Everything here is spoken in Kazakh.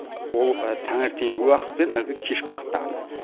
ол таңертеңгі уақыт пен әлгі кешкі уақытта ғана